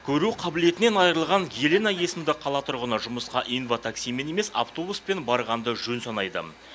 көру қабілетінен айырылған елена есімді қала тұрғыны жұмысқа инватаксимен емес автобуспен барғанды жөн санайды